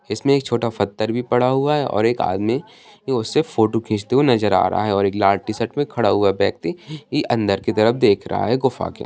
इसमें एक छोटा फत्थर भी पड़ा हुआ है और एक आदमी उससे फोटो खींचते हुए नजर आ रहा है और एक लाल टी-शर्ट में खड़ा हुआ व्यक्ति अंदर की तरफ देख रहा है गुफ़ा के।